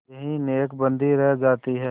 यही नेकबदी रह जाती है